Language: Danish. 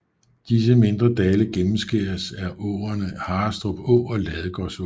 Disse mindre dale gennemskæres af åerne Harrestrup Å og Ladegårdsåen